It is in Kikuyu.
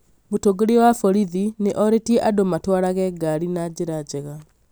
Mũtongoria wa borithi nĩ orĩtie andũ matwarage ngari na njĩra njega